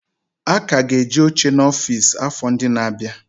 A ka ga-eji oche n'ọfịs, afọ ndị na-abịa.